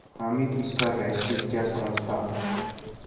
हामिद इसका रहस्य क्या समझता